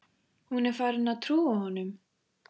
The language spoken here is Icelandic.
Hún er farin að trúa honum.